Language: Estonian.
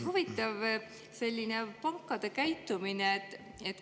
Huvitav on see pankade selline käitumine.